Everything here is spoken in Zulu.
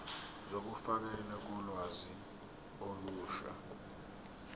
zokufakelwa kolwazi olusha